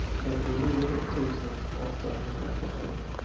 trettionio tusen åttahundrafyrtio